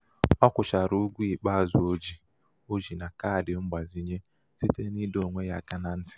ọ kwụchara ụgwọ ikpeazụ o ji, o ji na kaadị mgbazinye site n' ịdọ onwe ya aka na ntị..